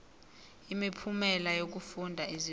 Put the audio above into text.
imiphumela yokufunda izibalo